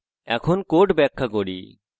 এখন code ব্যাখ্যা করি